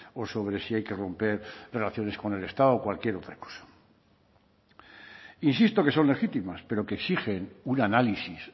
o sobre si hay que romper relaciones con el estado o cualquier otra cosa insisto que son legítimas pero que exigen un análisis